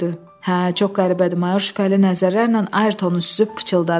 Hə, çox qəribədir, mayor şübhəli nəzərlərlə Ayrtonu süzüb pıçıldadı.